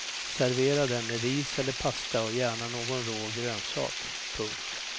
Servera den med ris eller pasta och gärna någon rå grönsak. punkt